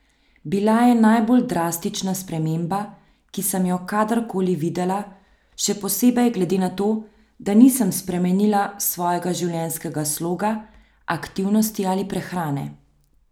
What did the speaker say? Bila je najbolj drastična sprememba, ki sem jo kadarkoli videla še posebej glede na to, da nisem spremenila svojega življenjskega sloga, aktivnosti ali prehrane.